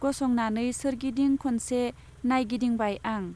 गसंनानै सोरगिदिं खनसे नाइगिदिंबाय आं।